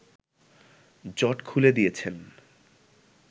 জট খুলে দিয়েছেন